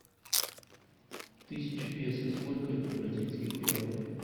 тысяча песо сколько это бразильских реалов